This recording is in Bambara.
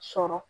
Sɔrɔ